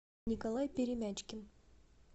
николай перемячкин